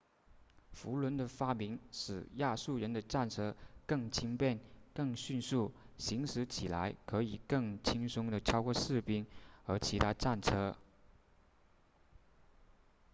辐轮的发明使亚述人的战车更轻便更迅速行驶起来可以更轻松地超过士兵和其他战车